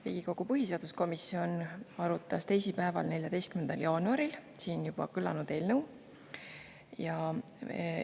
Riigikogu põhiseaduskomisjon arutas siin juba eelnõu teisipäeval, 14. jaanuaril.